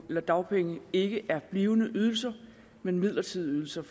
og dagpenge ikke er blivende ydelser men midlertidige ydelser